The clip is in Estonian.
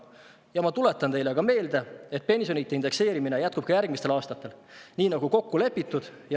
Ja ma tuletan teile meelde, et pensionite indekseerimine jätkub ka järgmistel aastatel, nii nagu kokku on lepitud.